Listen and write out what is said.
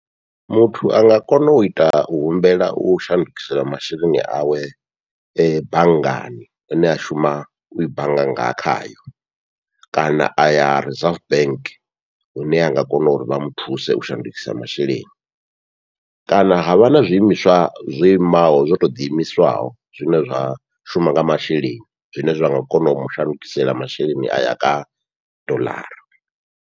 Muthu anga kona uita u humbela u shandukisa masheleni awe banngani ine a shuma ui bannga nga khayo, kana aya reserve bank hune anga kona uri vha muthuse u shandukisa masheleni, kana havha na zwiimiswa zwo imaho zwo to ḓiimisaho zwine zwa shuma nga masheleni zwine zwa nga kona u mushandukisela masheleni aya kha dollar.